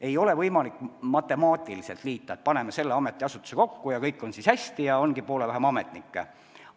Ei ole võimalik matemaatiliselt liita, et paneme selle ametiasutuse kellegagi kokku, ja kõik on hästi, ongi poole vähem ametnikke.